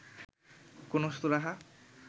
কোনো সুরাহা